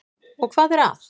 Og hvað er að?